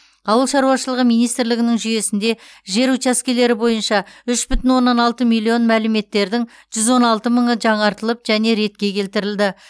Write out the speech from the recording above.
ауыл шаруашылығы министрлігінің жүйесінде жер учаскелері бойынша үш бүтін оннан алты миллион мәліметтердің жүз он алты мыңы жаңартылып және ретке келтірілді